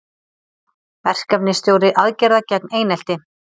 Verkefnisstjóri aðgerða gegn einelti